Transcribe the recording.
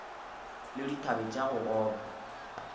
le dithabe tša go gogoba